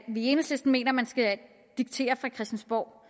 i enhedslisten mener man skal diktere fra christiansborg